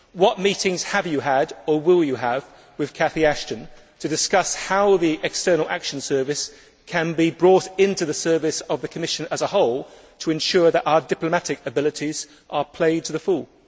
What meetings have you had or will you have with Catherine Ashton to discuss how the External Action Service can be brought into the service of the Commission as a whole to ensure that our diplomatic abilities are played to the full?